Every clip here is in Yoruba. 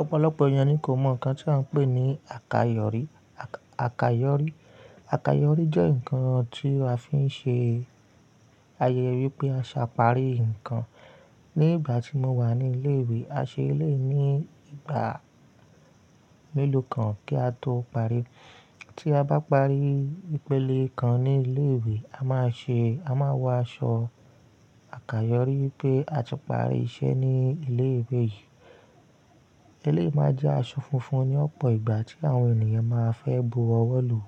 Ọ̀pọ̀lọ̀pọ̀ ènìyàn ni kò mọ̀ nǹkan tí à ń pè ní àkayọ̀rí. Àkayọ̀rí, àkayọ̀rí jẹ́ nǹkan tí a fi ń ṣe àyẹ̀yé pé a ti parí nǹkan ní ìgbà tí mo wà ní ilé ìwé. A ṣe lè ní ìgbà mélòó kan kí a tó parí. Tí a bá parí ìpele kan ní ilé ìwé, a máa ṣe-- a máa wọ aṣọ àkayọ̀rí pé a ti parí iṣẹ́ ní ilé ìwé yìí. Eléyìí máa jẹ́ aṣọ funfun ní ọ̀pọ̀ ìgbà tí àwọn ènìyàn máa fẹ́ bu ọwọ́ lu.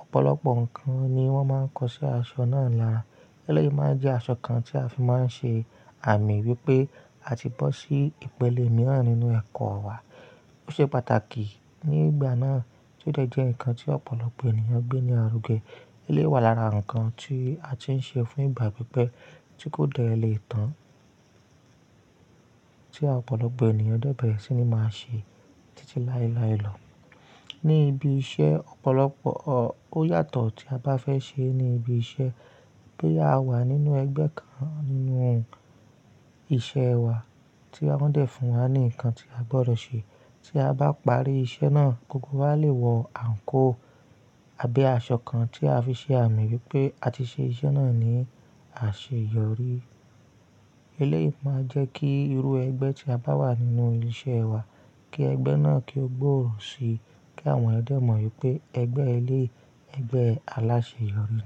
Ọ̀pọ̀lọpọ̀ nǹkan ni wón máa ń kọ sí aṣọ náà lára. Eléyìí máa jẹ́ aṣọ kan tí a fi máa ń ṣe àmì wípé a ti bọ́ sí ìpele mìíràn nínú ẹ̀kọ́ wa. Ó ṣe pàtàkì ní ìgbà náà tí ó dẹ̀ jẹ́ nǹkan tí ọ̀pọ̀lọpọ̀ ènìyàn gbé ní àrúgẹ. Eléyìí wà lára nǹkan tí a ti ń ṣe fún ìgbà pípẹ́ tí kò dẹ̀ lè tán tí ọ̀pọ̀lọpọ̀ ènìyàn dẹ́ bẹ̀rẹ̀ sí ní máa ṣe títí láéláé lọ. Ní ibi iṣẹ́ ọ̀pọ̀lọpọ̀ ó yàtọ̀ tí a bá fẹ́ ṣe ní ibi iṣẹ́. Bí a wà nínú ẹgbẹ́ kan nínú iṣẹ́ wa tí wọ́n dẹ̀ fún wa ní nǹkan tí a gbọdọ̀ ṣe. Tí a bá parí iṣẹ́ náà gbogbo wa lè wọ àǹkóò àbí aṣọ kan tí a fi ṣe àmì wípé a ti ṣe iṣẹ́ náà ní àṣeyọrí. Eléyìí máa jẹ́ kí irú ẹgbẹ́ tí a bá wà nínú ilé iṣẹ́ wa, kí ẹgbẹ́ náà kí ó gbòòrò si, kí àwọn eeyan dẹ mọ̀ wípé ẹgbẹ́ eléyìí ẹgbẹ́ aláṣeyọrí ni.